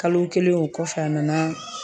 Kalo kelen o kɔfɛ a nana